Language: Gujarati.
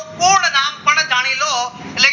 પૂર્ણ નામ પણ જાને લો